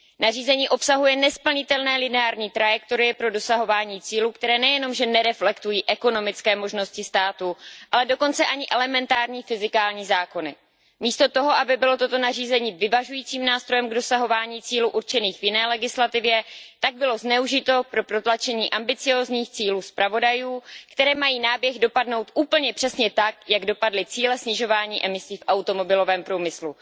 Nařízení obsahuje nesplnitelné lineární trajektorie pro dosahování cílů, které nejenom, že nereflektují ekonomické možnosti států, ale dokonce ani elementární fyzikální zákony. Místo toho, aby bylo toto nařízení vyvažujícím nástrojem k dosahování cílů určených v jiné legislativě, tak bylo zneužito pro protlačení ambiciózních cílů zpravodajů, které mají náběh dopadnout úplně přesně tak, jak dopadly cíle snižování emisí v automobilovém průmyslu.